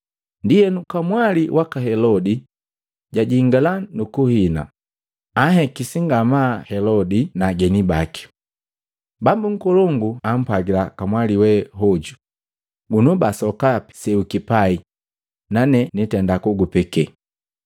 Ndienu, kamwali waka Helodia jajingala nukuhina, janhekisi ngamaa Helodi na ageni baki. Bambu nkolongu apwagila kamwali we hoju, “Gunobaa sokapi se ukipai nane nugutenda nugupeke.”